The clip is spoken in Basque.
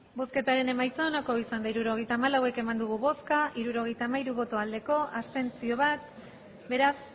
hirurogeita hamalau eman dugu bozka hirurogeita hamairu bai bat abstentzio beraz